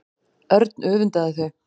Örn öfundaði þau.